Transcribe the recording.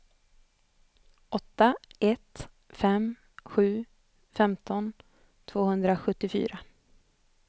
åtta ett fem sju femton tvåhundrasjuttiofyra